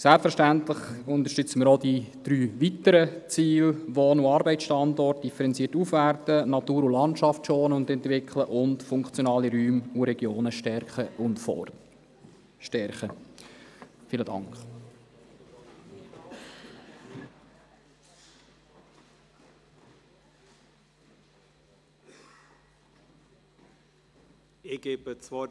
Selbstverständlich unterstützen wir auch die drei weiteren Ziele, also die differenzierte Aufwertung von Wohn- und Arbeitsstandorten, die Schonung und Entwicklung von Natur und Landschaft sowie die Stärkung funktionaler Räume und Regionen.